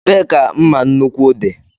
Ebee ka mma nnukwu dị?